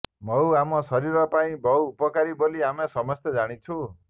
ମହୁ ଆମ ଶରୀର ପାଇଁ ବହୁ ଉପକାରୀ ବୋଲି ଆମେ ସମସ୍ତେ ଜାଣିଛୁ